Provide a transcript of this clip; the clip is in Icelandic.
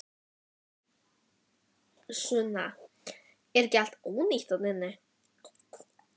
Sunna: Er þetta allt ónýtt þarna inni?